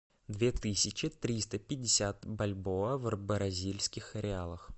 две тысячи триста пятьдесят бальбоа в бразильских реалах